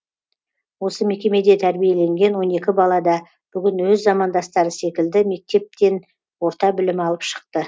осы мекемеде тәрбиеленген он екі бала да бүгін өз замандастары секілді мектептен орта білім алып шықты